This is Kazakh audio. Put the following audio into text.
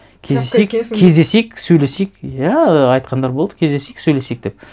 кездесейік кездесейік сөйлесейік иә айтқандар болды кездесейік сөйлесейік деп